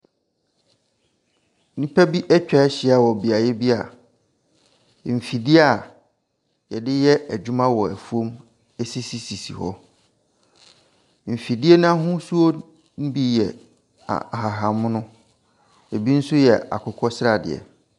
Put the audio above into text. Nnipa bi atwa ahyia wɔ beaeɛ bi a mfidie yɛde yɛ adwuma wɔ afuo mu sisisisi hɔ, mfidie n’ahosuo ne bi yɛ ahabanmono, bi nso yɛ akokɔsradeɛ.